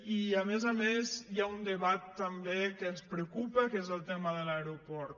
i a més a més hi ha un debat també que ens preocupa que és el tema de l’aeroport